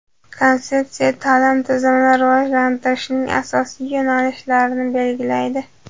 Konsepsiya ta’lim tizimini rivojlantirishning asosiy yo‘nalishlarini belgilaydi.